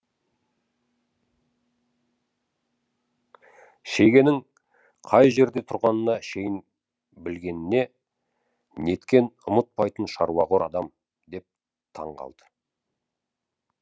шегенің қай жерде тұрғанына шейін білгеніне неткен ұмытпайтын шаруақор адам деп таң қалды